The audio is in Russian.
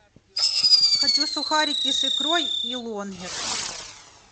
хочу сухарики с икрой и лонгер